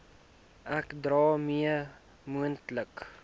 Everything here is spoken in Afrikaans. ek daarmee moontlike